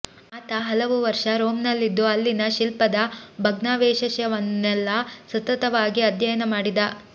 ಆತ ಹಲವು ವರ್ಷ ರೋಮ್ನಲ್ಲಿದ್ದು ಅಲ್ಲಿನ ಶಿಲ್ಪದ ಭಗ್ನಾವಶೇಷವನ್ನೆಲ್ಲ ಸತತವಾಗಿ ಅಧ್ಯಯನ ಮಾಡಿದ